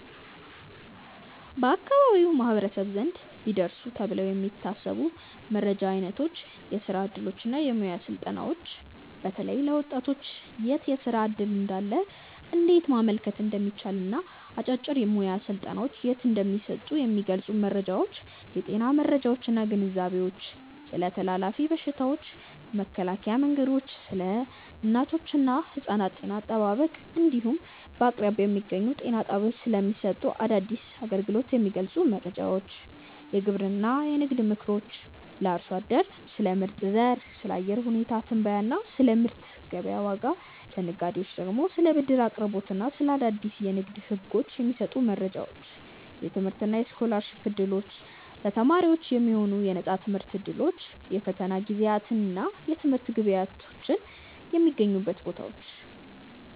1. በአካባቢው ማኅበረሰብ ዘንድ ቢደርሱ ተብለው የሚታሰቡ የመረጃ ዓይነቶች የሥራ ዕድሎችና የሙያ ሥልጠናዎች፦ በተለይ ለወጣቶች የት የሥራ ዕድል እንዳለ፣ እንዴት ማመልከት እንደሚቻልና አጫጭር የሙያ ሥልጠናዎች የት እንደሚሰጡ የሚገልጹ መረጃዎች። የጤና መረጃዎችና ግንዛቤዎች፦ ስለ ተላላፊ በሽታዎች መከላከያ መንገዶች፣ ስለ እናቶችና ሕፃናት ጤና አጠባበቅ እንዲሁም በአቅራቢያ በሚገኙ ጤና ጣቢያዎች ስለሚሰጡ አዳዲስ አገልግሎቶች የሚገልጹ መረጃዎች። የግብርናና የንግድ ምክሮች፦ ለአርሶ አደሮች ስለ ምርጥ ዘር፣ ስለ አየር ሁኔታ ትንበያና ስለ ምርት ገበያ ዋጋ፤ ለነጋዴዎች ደግሞ ስለ ብድር አቅርቦትና ስለ አዳዲስ የንግድ ሕጎች የሚሰጡ መረጃዎች። የትምህርትና የስኮላርሺፕ ዕድሎች፦ ለተማሪዎች የሚሆኑ የነፃ ትምህርት ዕድሎች፣ የፈተና ጊዜያትና የትምህርት ግብዓቶች የሚገኙባቸው ቦታዎች።